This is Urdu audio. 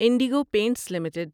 Indigo paints limited